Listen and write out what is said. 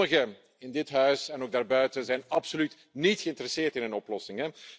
Sommigen in dit huis en ook daarbuiten zijn absoluut niet geïnteresseerd in een oplossing.